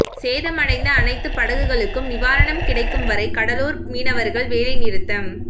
சேதமடைந்த அனைத்து படகுகளுக்கும் நிவாரணம் கிடைக்கும் வரை கடலூர் மீனவர்கள் வேலைநிறுத்தம்